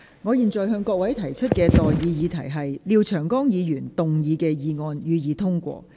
我現在向各位提出的待議議題是：廖長江議員動議的議案，予以通過。